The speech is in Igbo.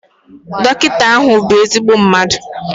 Dọkịta ahụ bụ ezigbo mmadu